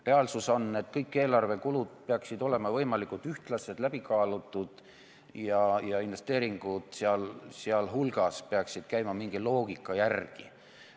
Reaalsus on, et kõik eelarvekulud peaksid olema võimalikult ühtlased, läbi kaalutud ja investeeringud seal hulgas peaksid käima mingi loogika järgi.